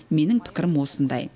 менің пікірім осындай